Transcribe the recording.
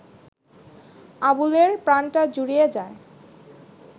আবুলের প্রাণটা জুড়িয়ে যায়